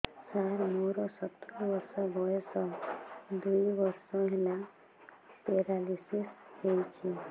ସାର ମୋର ସତୂରୀ ବର୍ଷ ବୟସ ଦୁଇ ବର୍ଷ ହେଲା ପେରାଲିଶିଶ ହେଇଚି